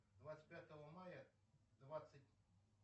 двадцать пятого мая двадцать